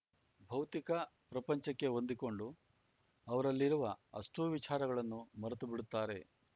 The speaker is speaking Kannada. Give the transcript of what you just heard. ಭೌತಿಕ ಪ್ರಪಂಚಕ್ಕೆ ಹೊಂದಿಕೊಂಡು ಅವರಲ್ಲಿರುವ ಅಷ್ಟೂವಿಚಾರಗಳನ್ನೂ ಮರೆತು ಬಿಡುತ್ತಾರೆ